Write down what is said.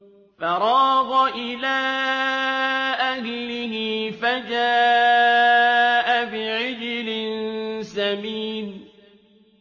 فَرَاغَ إِلَىٰ أَهْلِهِ فَجَاءَ بِعِجْلٍ سَمِينٍ